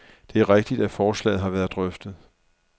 Det er rigtigt, at forslaget har været drøftet.